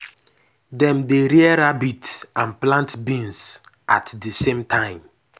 dem dey rear rabbit and plant beans at the same time.